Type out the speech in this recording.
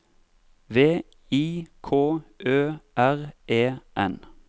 V I K Ø R E N